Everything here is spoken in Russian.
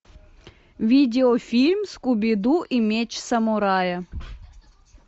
видеофильм скуби ду и меч самурая